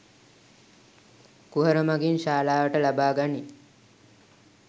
කුහර මඟින් ශාලාවට ලබා ගනී